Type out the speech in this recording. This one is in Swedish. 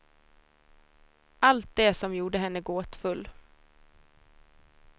Allt det som gjorde henne gåtfull.